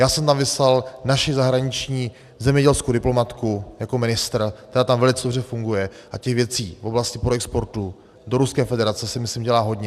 Já jsem tam vyslal naši zahraniční zemědělskou diplomatku jako ministr, která tam velice dobře funguje, a těch věcí v oblasti proexportu do Ruské federace se myslím dělá hodně.